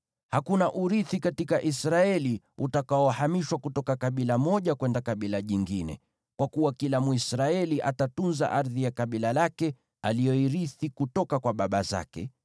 Hakuna urithi katika Israeli utakaohamishwa kutoka kabila moja kwenda kabila jingine, kwa kuwa kila Mwisraeli atatunza ardhi ya kabila lake aliyoirithi kutoka kwa baba zake.